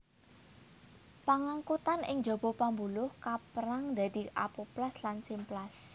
Pangangkutan ing jaba pambuluh kaperang dadi apoplas lan simplas